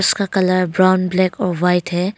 इसका colour brown black और white है।